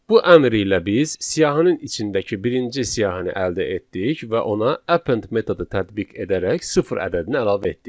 Bu əmr ilə biz siyahının içindəki birinci siyahını əldə etdik və ona append metodu tətbiq edərək sıfır ədədini əlavə etdik.